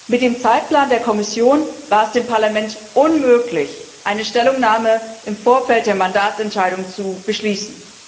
Mit dem Zeitplan der Kommission war es dem Parlament unmöglich, eine Stellungnahme im Vorfeld der Mandatsentscheidung zu beschließen.